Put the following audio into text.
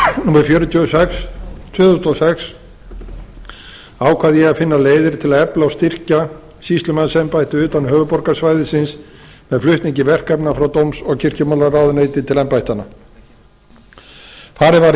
númer fjörutíu og sex tvö þúsund og sex ákvað ég að finna leiðir til að efla og styrkja sýslumannsembættið utan höfuðborgarsvæðisins með flutningi verkefna frá dóms og kirkjumálaráðuneyti til embættanna farið var